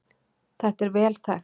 Þetta er vel þekkt